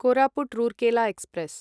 Koraput Rourkela express